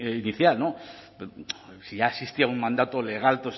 inicial si ya existía un mandato legal